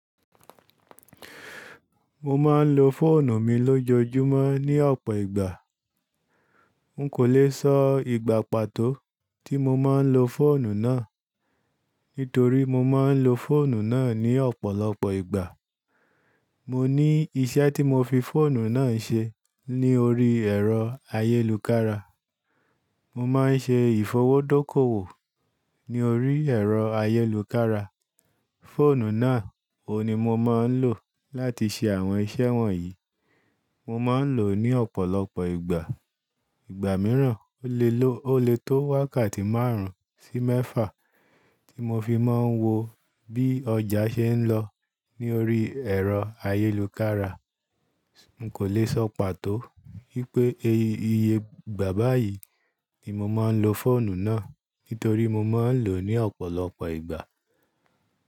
Mo máa ń lo fóònù mi lójoojúmọ́ ní ọ̀pọ̀ ìgbà. N kò lè sọ ìgbà pàtó tí mo máa ń lo fóònù náà, nítorí mo máa ń lo fóònù náà ní ọ̀pọ̀lọpọ̀ ìgbà. Mo ní iṣẹ́ tí mo fi fóònù náà n ṣe ní orí ẹ̀rọ ayélukára. Mo máa ń ṣe ìfowódókòwò ní orí ẹ̀rọ ayélukára. Fóònù náà o ni mo máa ń lò láti ṣe àwọn iṣẹ́ wọ̀nyí. Mo máa ń lò ó ní ọ̀pọ̀lọpọ̀ ìgbà. Ìgbà mìíràn, ó lè tó wákàtí márùn-ún sí mẹ́fà tí mo fi máa ń wo bí ọjà ṣe ń lọ ní orí ẹ̀rọ ayélukára. N kò lè sọ pàtó wípé iye ìgbà báyìí ni mo máa ń lo fóònù náà, nítorí mo máa ń lò ó ní ọ̀pọ̀lọpọ̀ ìgbà.